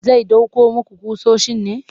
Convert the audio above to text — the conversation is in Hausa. Zai ɗauko muku ƙusoshin ne?